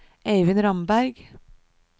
Eivind Ramberg